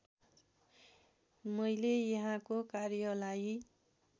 मैले यहाँको कार्यलाई